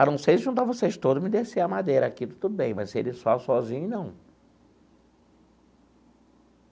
A não ser juntar vocês todos, me descer a madeira aqui, tudo bem, mas ele só sozinho, não.